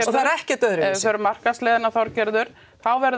það er ekkert öðruvísi ef við förum markaðsleiðina Þorgerður þá verður